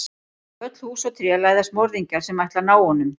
Bak við öll hús og tré læðast morðingjar sem ætla að ná honum.